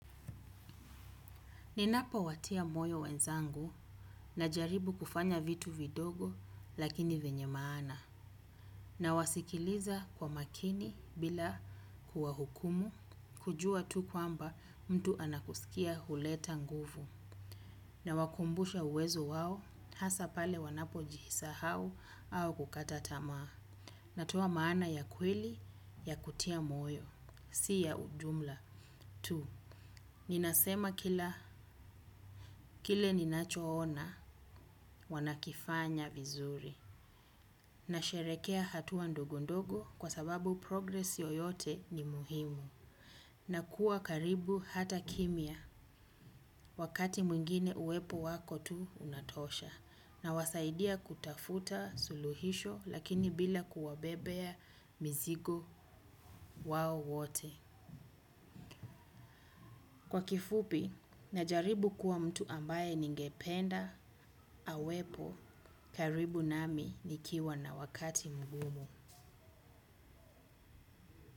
Ninapowatia moyo wenzangu najaribu kufanya vitu vidogo lakini vyenye maana nawasikiliza kwa makini bila kuwahukumu kujua tu kwamba mtu anakusikia huleta nguvu nawakumbusha uwezo wao hasa pale wanapojisahau au kukata tamaa natoa maana ya kweli ya kutia moyo si ya ujumla tu. Ninasema kila kile ninachoona wanakifanya vizuri nasherehekea hatua ndogondogo kwa sababu progresi yoyote ni muhimu na kuwa karibu hata kimya wakati mwingine uwepo wako tu unatosha nawasaidia kutafuta suluhisho lakini bila kuwabebea mizigo wao wote. Kwa kifupi najaribu kuwa mtu ambaye ningependa awepo karibu nami nikiwa na wakati mgumu.